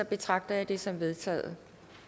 betragter jeg det som vedtaget